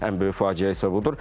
Ən böyük faciə isə budur.